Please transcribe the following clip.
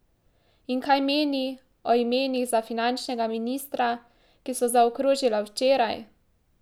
In kaj meni o imenih za finančnega ministra, ki so zakrožila včeraj?